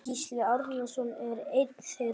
Gísli Árnason er einn þeirra.